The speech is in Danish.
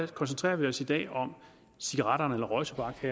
koncentrerer vi os i dag om cigaretter eller røgtobak og